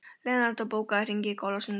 Leonardó, bókaðu hring í golf á sunnudaginn.